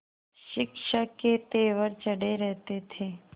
शिक्षक के तेवर चढ़े रहते थे